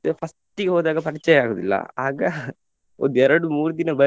first ಗೆ ಹೋದಾಗ ಪರಿಚಯ ಆಗುದಿಲ್ಲ ಆಗ ಒಂದು ಎರಡು ಮೂರು ದಿನ ಬರೀ.